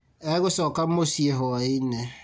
Egũcoka mũciĩ hwaĩ-inĩ